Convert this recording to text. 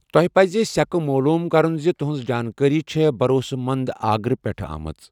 تۄہہِ پَزِ سیكہٕ معلوم كرُن زِ تُہنز جانكٲری چھے بھروسہٕ مند آگرٕ پیٹھہٕ آمژ ۔